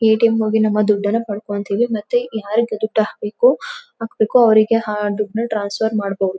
ATM ಗೆ ಹೋಗಿ ನಮ್ಮ ದುಡ್ಡನ್ನ ಪಡ್ಕೋತೀವಿ ಮತ್ತೆ ಯಾರಿಗೆ ದುಡ್ಡು ಹಾಕ್ಬೇಕೋ ಹಾಕ್ಬೇಕೋ ಅವರಿಗೆ ಆ ದುಡ್ಡನ್ನ ಟ್ರಾನ್ಸ್ಫರ್ ಮಾಡಬಹುದು.